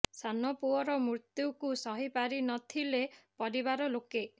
ସାନ ପୁଅର ମୃତ୍ୟୁକୁ ସହି ପାରି ନଥିଲେ ପରିବାର ଲୋକେ